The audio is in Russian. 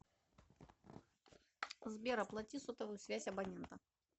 сбер оплати сотовую связь абонента